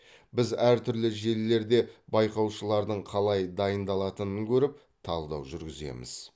біз әртүрлі желілерде байқаушылардың қалай дайындалатынын көріп талдау жүргіземіз